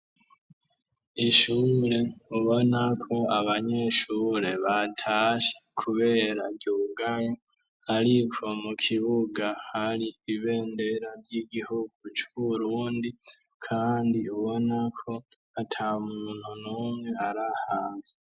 ishure ubonako abanyeshure batashe kubera ryugaye ariko mu kibuga hari ibendera ry'igihugu curundi kandi ubonako ata muntu numwe arihanze.